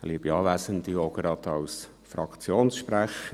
Ich spreche auch gleich als Fraktionssprecher;